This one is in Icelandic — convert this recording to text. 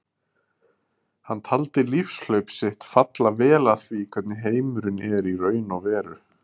Hann taldi lífshlaup sitt falla vel að því hvernig heimurinn er í raun og veru.